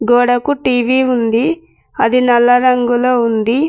గోడకు టీ_వీ ఉంది అది నల్ల రంగులో ఉంది.